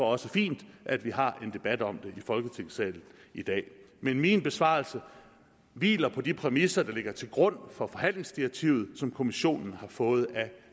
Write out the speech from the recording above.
også fint at vi har en debat om det i folketingssalen i dag men min besvarelse hviler på de præmisser der ligger til grund for forhandlingsdirektivet som kommissionen har fået af